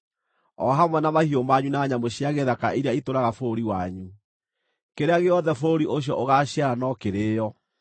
o hamwe na mahiũ manyu na nyamũ cia gĩthaka iria itũũraga bũrũri wanyu. Kĩrĩa gĩothe bũrũri ũcio ũgaaciara no kĩrĩĩo.